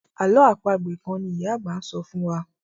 àlọ́ àpagbè kán ní ìyá àgbà sọfún wá.